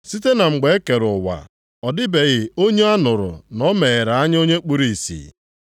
Site na mgbe e kere ụwa, ọ dịbeghị onye a nụrụ na o meghere anya onye kpuru ìsì.